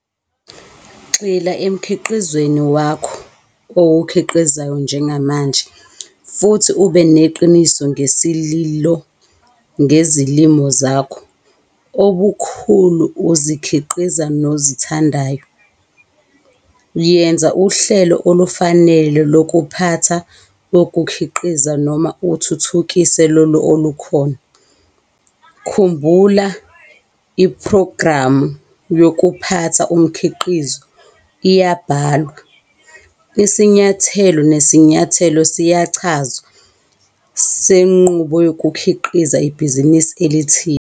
Gxila emkhiqizweni wakho owukhiqizayo njengamanje futhi ube neqiniso ngesililo, ngezilimo zakho obulokhu uzikhiqiza nozithandayo. Yenza uhlelo olufanele lokuphatha ukukhiqiza noma uthuthukise lolo olukhona. Khumbula iphrogramu yokuphatha umkhiqizo iyabhalwa, isinyathelo nesinyathelo siyachazwa senqubo yokukhiqiza ibhizinisi elithile.